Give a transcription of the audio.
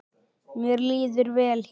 Mér líður vel hér.